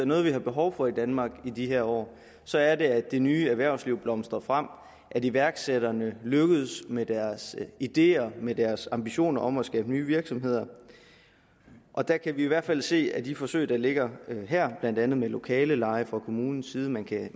noget vi har behov for i danmark i de her år så er det at det nye erhvervsliv blomstrer frem at iværksætterne lykkes med deres ideer med deres ambitioner om at skabe nye virksomheder og der kan vi i hvert fald se at i de forsøg der ligger her blandt andet med lokaleudleje fra kommunens side man kan